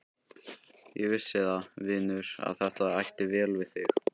Ég vissi það, vinur, að þetta ætti vel við þig.